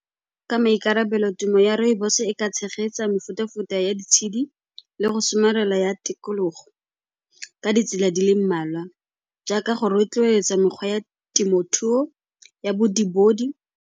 Ka maikarabelo, temo ya rooibos-e e ka tshegetsa mefuta-futa ya ditshedi le go somarela ya tikologo ka ditsela di le mmalwa jaaka go rotloetsa mekgwa ya temothuo ya .